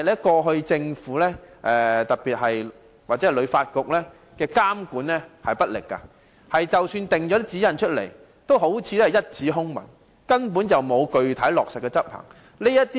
過去政府或香港旅遊發展局監管不力，即使訂下指引亦好像一紙空文，根本沒有具體落實執行。